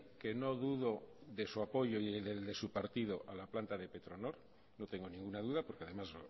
que no dudo de su apoyo y del de su partido a la planta de petronor no tengo ninguna duda porque además